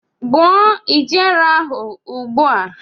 Gbuo ijere ahụ ugbu a!